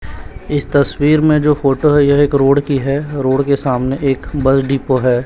इस तस्वीर में जो फोटो यह एक रोड की है रोड के सामने एक बस डिपो है।